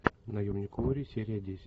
наемник куорри серия десять